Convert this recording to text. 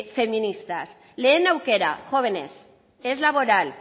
feministas lehen aukera jóvenes es laboral